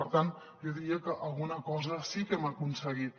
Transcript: per tant jo diria que alguna cosa sí que hem aconseguit